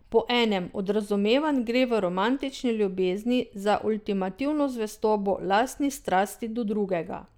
Po enem od razumevanj gre v romantični ljubezni za ultimativno zvestobo lastni strasti do drugega.